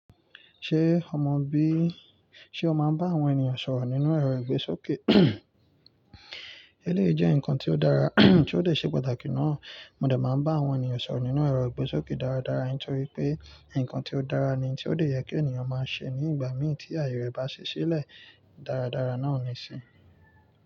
Ṣé ọmọ bí, ṣe o máa ń bá àwọn ènìyàn sọ̀rọ̀ nínú ẹ̀rọ ìgbésókè? Eléyìí jẹ́ nǹkan tí ó dára tí ó lè ṣe pàtàkì náà. Mo dà máa ń bá àwọn ènìyàn sọ̀rọ̀ nínú ẹ̀rọ ìgbésókè dáradára torí pé nǹkan tí ó dára ni tí ó lè yẹ kí ènìyàn máa ṣe ní ìgbà mí tí àyè rẹ̀ bá ṣe sílẹ̀. Daradára náà nìí sìn.